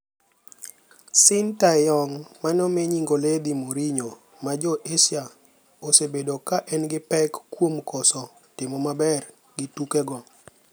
Shin Tae-yong mane omi nying oledhi 'Mourinho mar Jo Asia' osebedo ka en gi pek kuom koso timo maber gi tukego.